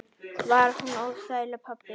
Var hún óþæg, pabbi?